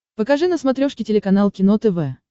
покажи на смотрешке телеканал кино тв